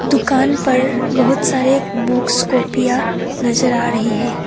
दुकान पर बहुत सारे बुक्स कॉपियां नजर आ रही है।